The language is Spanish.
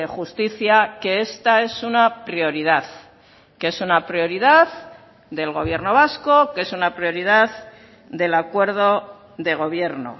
justicia que esta es una prioridad que es una prioridad del gobierno vasco que es una prioridad del acuerdo de gobierno